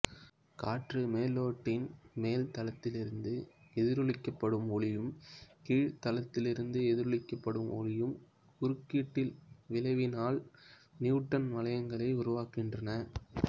காற்று மெல்லோட்டின் மேல் தளத்திலிருந்து எதிரொளிக்கப்படும் ஒளியும் கீழ் தளத்திலிருந்து எதிரொளிக்கப்படும் ஒளியும் குறுக்கீட்டு விளைவினால் நியூட்டனின் வளையங்களை உருவாக்குகின்றன